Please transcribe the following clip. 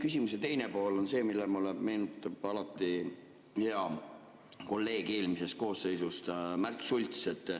Küsimuse teine pool on see, millega koos mulle meenub alati hea kolleeg eelmisest koosseisust Märt Sults.